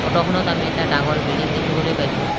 ফটোখনত আমি এটা ডাঙৰ বিল্ডিং দেখিবলৈ পাইছোঁ।